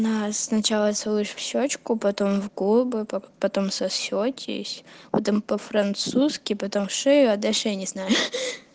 сначала целую в щёчку потом в губы потом сосётесь по-французски потом шею а дальше я не знаю